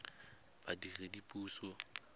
badiredipuso